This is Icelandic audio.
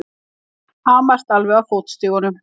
Hamast alveg á fótstigunum!